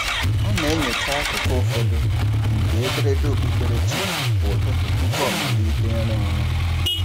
Ọ na-enyocha akụkụ ụfọdụ nke ederede okpukperechi kwa ụtụtụ tụpụ ọ amalite ịrụ ọrụ.